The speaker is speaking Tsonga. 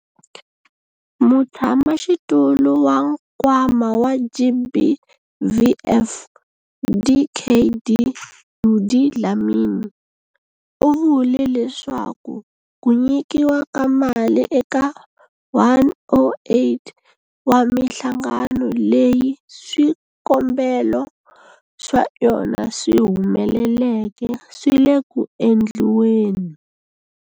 Mutshamaxitulu wa Nkwama wa GBVF, Dkd Judy Dlamini, u vule leswaku ku nyikiwa ka mali eka 108 wa mihlangano leyi swikombelo swa yona swi humeleleke swi le ku endliweni.